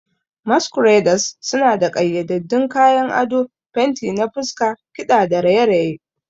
Masqueraders suna da ƙayyadaddun kayan ado, fenti na fuska, kiɗa da raye-raye.